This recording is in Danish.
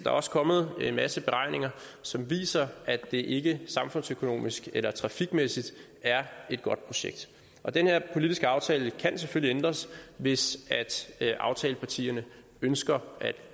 er også kommet en masse beregninger som viser at det ikke samfundsøkonomisk eller trafikmæssigt er et godt projekt og den her politiske aftale kan selvfølgelig ændres hvis aftalepartierne ønsker at